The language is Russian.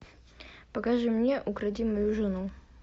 покажи мне укради мою жену